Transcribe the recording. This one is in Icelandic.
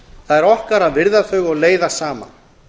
það er okkar að virða þau og leiða saman